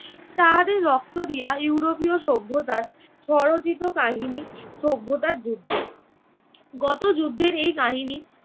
তাহাদের রক্ত দিয়া ইউরোপীয় সভ্যতার স্বরচিত কাহিনী সভ্যতার যুদ্ধ। গতযুদ্ধের এই কাহিনী